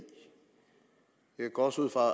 jeg går også ud fra